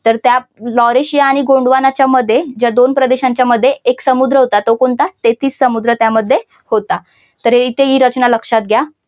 तर त्या लॉरेशिया आणि गोंडवानाच्या मध्ये ज्या दोन प्रदेशांच्या मध्ये एक समुद्र होता तो कोणता तेहतीस समुद्र त्यामध्ये होता तर हे तर हे इथे ही रचना लक्षात घ्या.